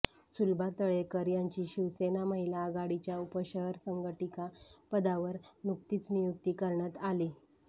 सुलभा तळेकर यांची शिवसेना महिला आघाडीच्या उपशहर संघटिका पदावर नुकतीच नियुक्ती करण्यात आली